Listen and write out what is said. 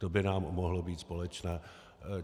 To by nám mohlo být společné.